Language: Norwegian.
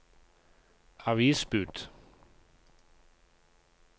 avisbud